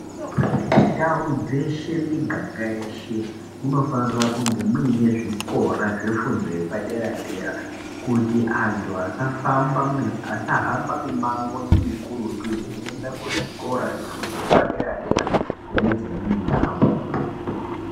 Ndau dzeshe miganga yeshe dzinofanirwa kunge muine zvikora zvefundo yepadera dera kuti antu asa hamba mumango mukurutu veyienda kuzvikora zvefundo yepadera dera kune dzimweni ndau.